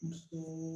Muso